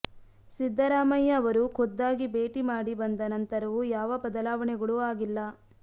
ಸಿದ್ದರಾಮಯ್ಯ ಅವರು ಖುದ್ದಾಗಿ ಭೇಟಿ ಮಾಡಿ ಬಂದ ನಂತರವೂ ಯಾವ ಬದಲಾವಣೆಗಳೂ ಆಗಿಲ್ಲ